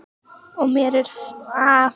og er mér fullkunnugt um merkingu þess.